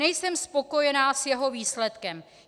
Nejsem spokojena s jeho výsledkem.